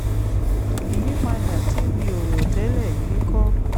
ìyípadà tí mi ò rò tẹ́lẹ̀ yìí kọ́